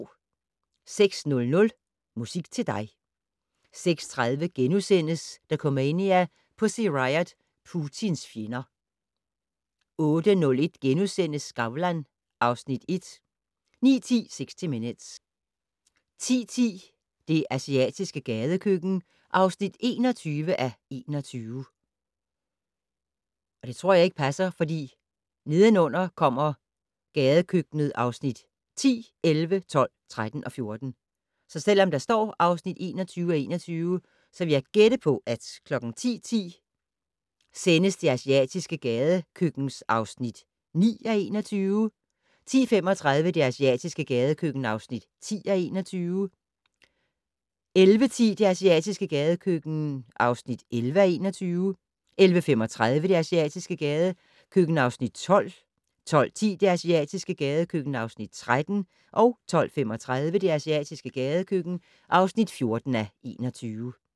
06:00: Musik til dig 06:30: Dokumania: Pussy Riot - Putins fjender * 08:01: Skavlan (Afs. 1)* 09:10: 60 Minutes 10:10: Det asiatiske gadekøkken (21:21) 10:35: Det asiatiske gadekøkken (10:21) 11:10: Det asiatiske gadekøkken (11:21) 11:35: Det asiatiske gadekøkken (12:21) 12:10: Det asiatiske gadekøkken (13:21) 12:35: Det asiatiske gadekøkken (14:21)